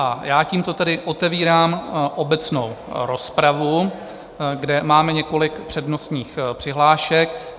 A já tímto tedy otevírám obecnou rozpravu, kde máme několik přednostních přihlášek.